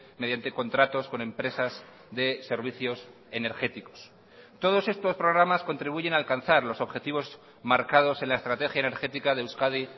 mediante contratos con empresas de servicios energéticos todos estos programas contribuyen a alcanzar los objetivos marcados en la estrategia energética de euskadi